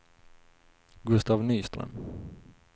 Gustaf Nyström